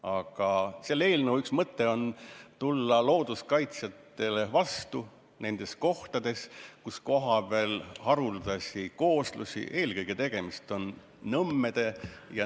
Aga selle eelnõu üks mõte on tulla looduskaitsjatele vastu, et säilitada haruldasi kooslusi eelkõige kohtades, kus tegemist on nõmmede ja ...